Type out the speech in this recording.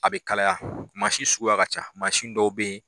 A bɛ kalaya mansi suguya ka ca mansin dɔw bɛ ye